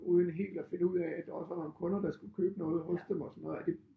Uden helt at finde ud af at der også var nogle kunder der skulle købe noget hos dem og sådan noget og det